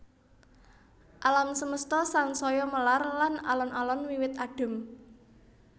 Alam semesta sansaya melar lan alon alon wiwit adhem